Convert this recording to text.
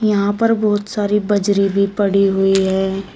यहां पर बहुत सारे बजरे भी पड़े हुए हैं।